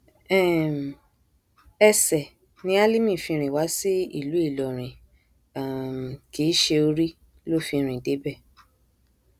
um ẹsẹ ni álímì fi rìn wá sí ìlú ìlọrin um kì í ṣe orí ló fi rìn débẹ